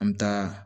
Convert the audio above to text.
An bɛ taa